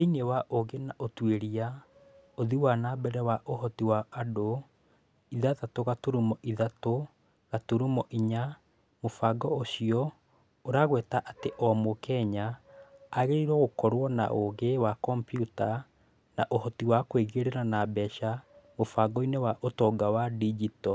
Thĩiniĩ wa ũũgĩ na ũtuĩria, ũthii wa na mbere wa ũhoti wa andũ (ithathatũ gaturumo ithatũ gaturumo inya), mũbango ũcio ũragweta atĩ o Mũkenya agĩrĩirwo nĩ gũkorũo na "ũgĩ wa komputa na ũhoti wa kwĩingĩria na mbeca mũbangoinĩ wa ũtonga wa digito"